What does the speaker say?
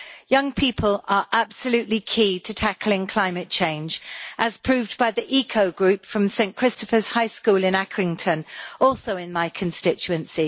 Young people are absolutely key to tackling climate changed, as proved by the Eco Group from St Christopher's High School in Accrington, also in my constituency.